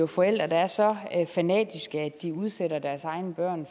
forældre der er så fanatiske at de udsætter deres egne børn